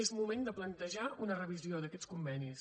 és moment de plantejar una revisió d’aquests convenis